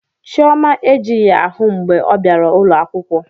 Chioma ejighị ahụ mgbe ọ bịara ụlọ akwụkwọ